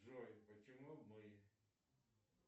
джой почему мы